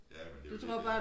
Jamen det jo det dér